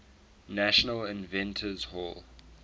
national inventors hall